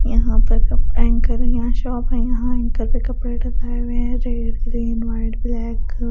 यहां पर cup anchor यहां शॉप है यहां एंकर पे कपड़े टंगाए हुए हैंजो रेड ग्रीन वाइट ब्लैक --